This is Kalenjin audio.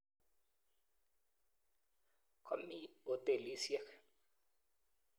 Komi hotelisiek.